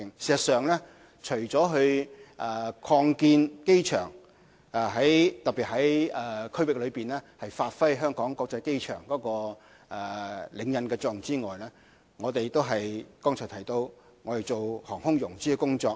事實上，除了擴建機場，特別在區域內發揮香港國際機場的領引作用之外，剛才亦提到我們做航空融資的工作。